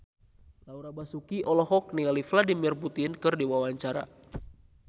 Laura Basuki olohok ningali Vladimir Putin keur diwawancara